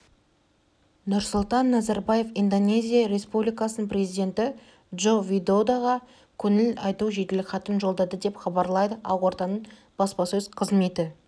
нұрсұлтан назарбаев индонезия республикасының президенті джоко видодоға көңіл айту жеделхатын жолдады деп хабарлайды ақорданың баспасөз қызметі